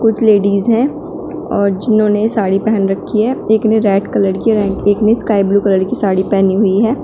कुछ लेडीज है और जिन्होंने साड़ी पेहन रखी है एक ने रेड कलर की एक ने स्काई ब्लू कलर की साड़ी पेहनी हुई है।